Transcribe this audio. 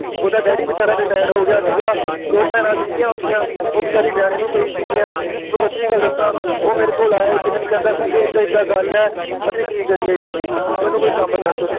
ਓਹਦਾ Daddy ਵੇਚਾਰਾ Retire ਹੋ ਗਿਆ ਸੀਗਾ ਦੋ ਭੈਣਾਂ ਸਿਗੀਆਂ ਓਹਦੀਆਂ ਉਹ ਵੇਚਾਰੀ ਵੇਹਾਉਣੇਨੂੰ ਨੂੰ ਪਈ ਸਿਗੀਆਂ ਮੈਂ ਸੱਚੀ ਗੱਲ ਦਸਾ ਉਹ ਮੇਰੇ ਕੋਲ ਆਇਆ ਇਕ ਦਿਨ ਕਹਿੰਦਾ ਸੰਜੀਤ ਇਦਾ ਗੱਲ ਹੈ ਅਸੀਂ ਕਿ ਕਰੀਏ ਯਾਰ ਮੈਨੂੰ ਕੋਈ ਕੰਮ ਦੱਸ